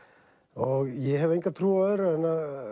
og ég hef enga trú á öðru en að